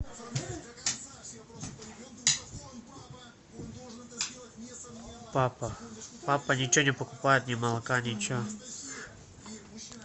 папа папа ничего не покупает ни молока ничего